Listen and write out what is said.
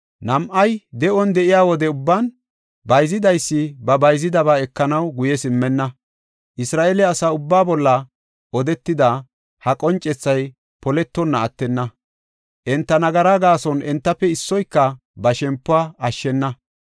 Nam7ay de7on de7iya wode ubban, bayzidaysi ba bayzidaba ekanaw guye simmenna. Isra7eele asa ubba bolla odetida ha qoncethay poletonna attenna. Enta nagaraa gaason entafe issoyka ba shempuwa ashshena.